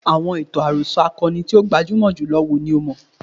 Àọn ìtàn àròsọ akọni tí ó gbajúmọ̀ jùlọ wo ni o mọ̀?